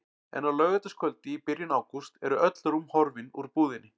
En á laugardagskvöldi í byrjun ágúst eru öll rúm horfin úr búðinni.